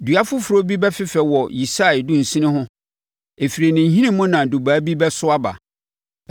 Dua foforɔ bi bɛfefɛ wɔ Yisai dunsini ho; ɛfiri ne nhini mu na Dubaa bi bɛso aba.